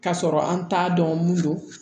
K'a sɔrɔ an t'a dɔn mun don